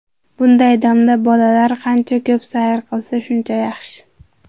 Bunday damda bolalar qancha ko‘p sayr qilsa, shuncha yaxshi.